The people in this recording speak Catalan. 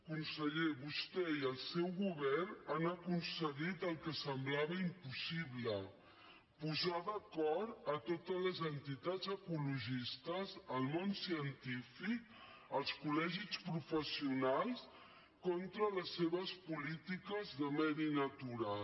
conseller vostè i el seu govern han aconseguit el que semblava impossible posar d’acord totes les entitats ecologistes el món científic els col·legis professionals contra les seves polítiques de medi natural